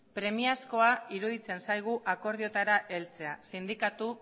premiazkoa iruditzen zaigun akordioetara heltzea sindikatu